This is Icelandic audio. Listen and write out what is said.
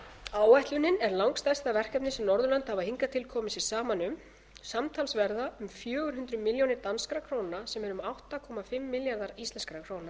áætlunin er langstærsta verkefnið sem norðurlönd hafa hingað til komið sér saman um samtals verða um fjögur hundruð milljónir danskar krónur sem eru um átta komma fimm milljarðar íslkr